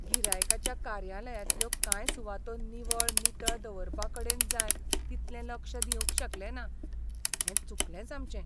गिरायकाच्या कार्यालयांतल्यो कांय सुवातो निवळ नितळ दवरपाकडेन जाय तितलें लक्ष दिवंक शकलेना हें चुकलेंच आमचें.